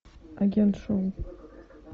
агент шоу